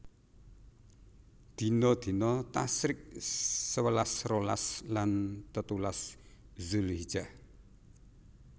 Dina dina Tasyrik sewelas rolas lan telulas Zulhijjah